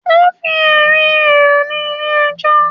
Ó fi ẹ̀rí rẹ̀ hàn ní ilé ẹjọ́.